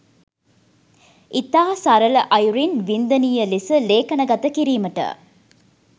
ඉතා සරල අයුරින් වින්දනීය ලෙස ලේඛනගත කිරීමට